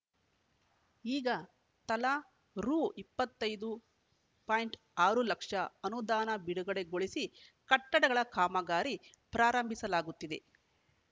ಈಗ ತಲಾ ರು ಇಪ್ಪತ್ತ್ ಐದು ಪಾಯಿಂಟ್ ಆರು ಲಕ್ಷ ಅನುದಾನ ಬಿಡುಗಡೆಗೊಳಿಸಿ ಕಟ್ಟಡಗಳ ಕಾಮಗಾರಿ ಪ್ರಾರಂಭಿಸಲಾಗುತ್ತಿದೆ